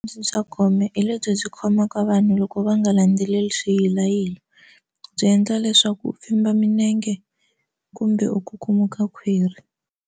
Bya gome hi lebyi byi khomaka vanhu loko va nga landzeleli swilayi byi endla leswaku u famba minenge kumbe u kukumuka khwiri.